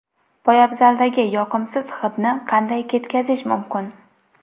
Poyabzaldagi yoqimsiz hidni qanday ketkazish mumkin?.